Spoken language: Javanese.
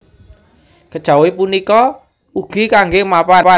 Kejawi punika ugi kanggé mapan